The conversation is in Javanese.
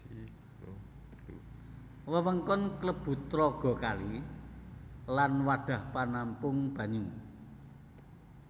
Wewengkon klebu tlaga kali lan wadhah panampung banyu